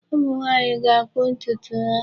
Ụmụnwaanyị ga-akpụ ntụtụ ha.